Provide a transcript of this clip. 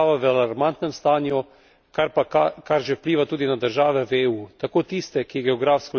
očitno kažejo na to, da je država v alarmantnem stanju, kar že vpliva tudi na države v EU.